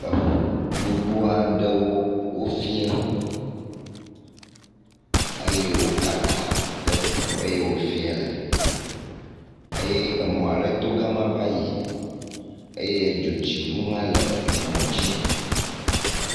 Eŋu gbogbo aɖewo wofie eye wo kaka le teƒe yi wofie le eye emɔ ale to gam ava yi eye dzotsiŋu hã le emɔ dzi.